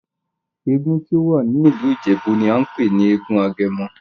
Èègún tí o wá ní ìlú Ìjèbú ní a npè ní èègún Agemo